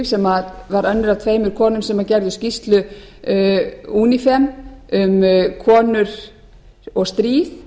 sem var önnur af tveimur konum sem gerðu skýrslu unifem um konur og stríð